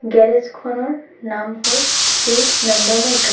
Garage খনৰ নাম হ'ল শ্ৰী নন্দা ম'টৰ ।